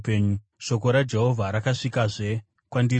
Shoko raJehovha rakasvikazve kwandiri richiti,